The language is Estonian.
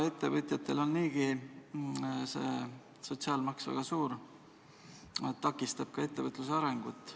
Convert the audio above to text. Ettevõtjatel on see sotsiaalmaks niigi väga suur, takistab ka ettevõtluse arengut.